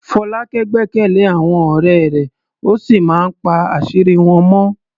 Folake gbẹ́kẹ̀lé àwọn ọ̀rẹ́ rẹ̀ ó sì máa ń pa àṣírí wọn mọ́.